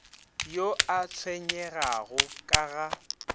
yo a tshwenyegago ka ga